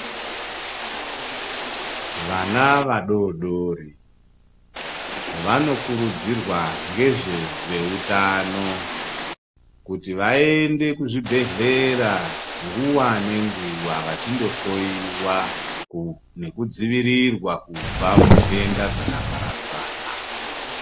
Vana vadodori vanokurudzirwa ngezveveutano kuti vaende kuzvibhedhlera nguva nenguva vachindohloyiwa nekudzivirirwa kubva muntenda dzakaparadzana.